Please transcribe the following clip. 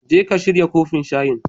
Jeka shirya kofin shayin